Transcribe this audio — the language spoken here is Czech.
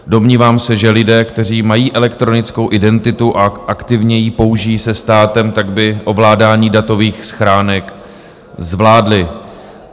Domnívám se, že lidé, kteří mají elektronickou identitu, a aktivně ji použijí se státem, tak by ovládání datových schránek zvládli.